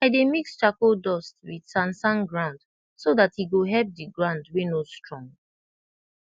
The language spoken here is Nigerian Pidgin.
i dey mix charcoal dust wit sand sand ground so dat e go help d ground wey no strong